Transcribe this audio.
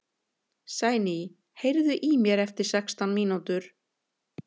Sæný, heyrðu í mér eftir sextán mínútur.